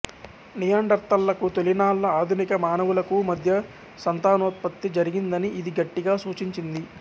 నియాండర్తళ్ళకు తొలినాళ్ళ ఆధునిక మానవులకూ మధ్య సంతానోత్పత్తి జరిగిందని ఇది గట్టిగా సూచించింది